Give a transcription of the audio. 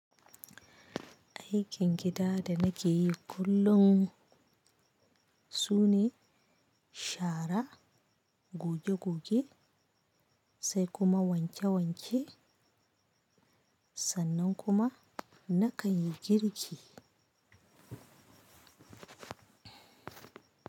Aikin gida da nake yi kullum su ne shara, goge-goge sai kuma wanke wanke sannan kuma na kan yi girki.